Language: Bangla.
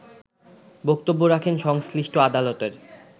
বক্তব্য রাখেন সংশ্লিষ্ট আদালতের